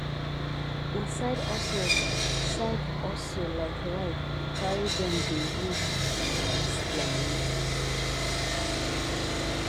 na side hustle side hustle like ride carry dem dey use boost their money